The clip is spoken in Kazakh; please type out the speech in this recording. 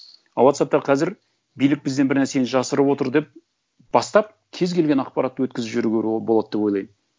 а уотсаппта қазір билік бізден бір нәрсені жасырып отыр деп бастап кез келген ақпаратты өткізіп жіберуге болады деп ойлаймын